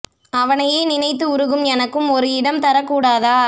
அவ னையே நினைத்து உருகும் எனக்கும் ஒரு இடம் தரக் கூடாதா